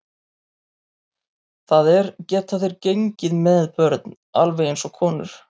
Það er, geta þeir gengið með börn alveg eins og konur?